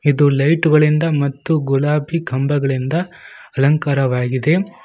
ಇದು ಲೈಟ್ ಗಳಿಂದ ಮತ್ತು ಗುಲಾಬಿ ಕಂಬಗಳಿಂದ ಅಲಂಕಾರವಾಗಿದೆ.